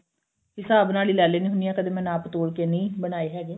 ਹਿਸਾਬ ਨਾਲ ਈ ਲੈ ਲੇੰਦੀ ਹੁੰਦੀ ਆ ਕਦੇ ਮੈਂ ਨਾਪ ਤੋਲ ਕੇ ਨਹੀਂ ਬਨਾਏ ਹੈਗੇ